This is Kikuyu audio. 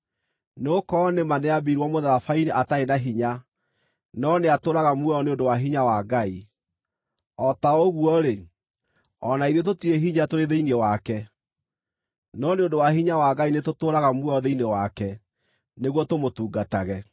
Nĩgũkorwo nĩ ma nĩambirwo mũtharaba-inĩ atarĩ na hinya, no nĩatũũraga muoyo nĩ ũndũ wa hinya wa Ngai. O ta ũguo-rĩ, o na ithuĩ tũtirĩ hinya tũrĩ thĩinĩ wake, no nĩ ũndũ wa hinya wa Ngai nĩtũtũũraga muoyo thĩinĩ wake nĩguo tũmũtungatage.